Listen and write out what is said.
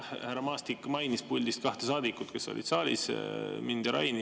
Siin, jah, härra Maastik mainis puldist kahte saadikut, kes olid saalis: mind ja Raini.